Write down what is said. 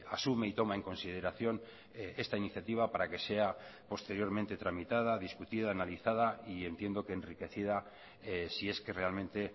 asume y toma en consideración esta iniciativa para que sea posteriormente tramitada discutida analizada y entiendo que enriquecida si es que realmente